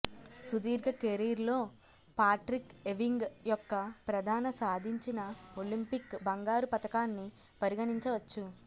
సుదీర్ఘ కెరీర్లో Patrick Ewing యొక్క ప్రధాన సాధించిన ఒలింపిక్ బంగారు పతకాన్ని పరిగణించవచ్చు